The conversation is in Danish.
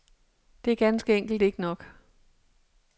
Det er ganske enkelt ikke nok.